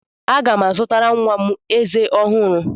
Aga m azụtara nwa m ezé ọhụrụ.